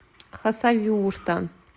хасавюрта